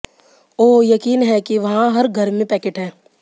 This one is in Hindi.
ओह यकीन है कि वहाँ हर घर में पैकेट है